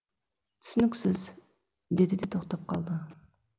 түсініксіз деді де тоқтап қалды